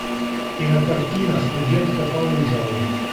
кинокартина студентка по вызову